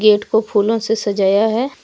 Gate को फूलों से सजाया है।